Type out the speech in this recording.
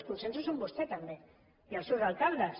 els consensos són vostès també i el seus alcaldes